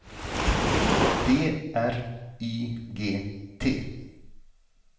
D R Y G T